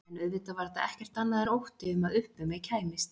En auðvitað var þetta ekkert annað en ótti um að upp um mig kæmist.